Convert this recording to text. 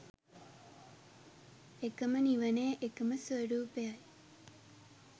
එකම නිවනේ එකම ස්වරූපයයි.